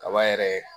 Kaba yɛrɛ